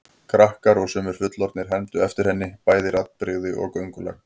Krakkar og sumir fullorðnir hermdu eftir henni, bæði raddbrigði og göngulag.